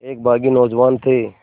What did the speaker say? एक बाग़ी नौजवान थे